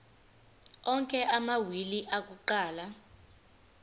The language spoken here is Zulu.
onke amawili akuqala